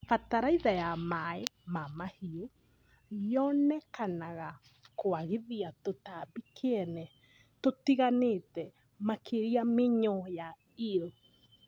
Bataraitha ya maĩ ma mahiũ yonekanaga kwagithia tũtambi kĩene tũtiganĩte makĩria mĩnyoo ya eel